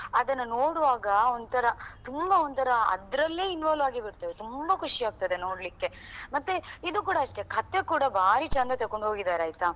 ನಾವ್ ಅದನ್ನು ನೋಡುವಾಗ ಒಂತರ ತುಂಬಾ ಒಂತರ ಅದ್ರಲ್ಲೇ involve ಆಗಿ ಬಿಡ್ತೇವೆ ತುಂಬಾ ಖುಷಿ ಆಗ್ತದೆ ನೋಡ್ಲಿಕೆ ಮತ್ತೆ ಇದು ಕೂಡ ಅಷ್ಟೆ ಕಥೆ ಕೂಡ ಬಾರಿ ಚಂದ ತಕೊಂಡು ಹೋಗಿದಾರೆ ಆಯ್ತಾ.